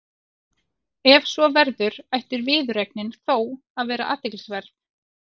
Ef svo verður ætti viðureignin þó að vera athyglisverð.